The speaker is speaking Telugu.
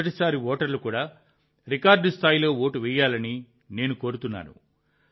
మొదటి సారి ఓటర్లు కూడా రికార్డు సంఖ్యలో ఓటు వేయాలని నేను కోరుతున్నాను